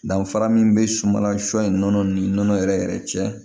Danfara min bɛ sumala sɔ in nɔnɔ ni nɔnɔ yɛrɛ yɛrɛ cɛ